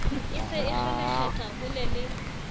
e se e kgelekgetha holele